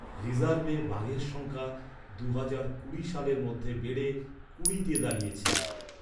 রিজার্ভে বাঘের সংখ্যা, দুহাজার কুড়ি সালের মধ্যে বেড়ে, কুড়িতে দাঁড়িয়েছে।